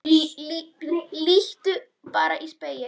Líttu bara í spegil.